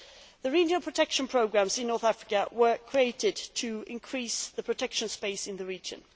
The regional protection programmes in North Africa were created to increase the protection space in the region.